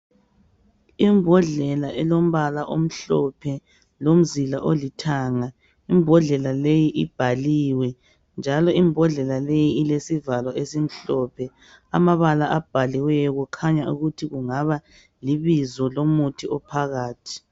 Imbodlela elombala omhlophe lomzila olithanga. Imbodlela leyi ibhaliwe njalo imbodlela leyi ilesivalo esimhlophe. Amabala abhaliweyo kukhanya ukuthi kungaba libizo lomuthi ophakathi.